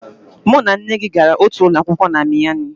Mụ na nne gị gara otu ụlọ akwụkwọ na Miami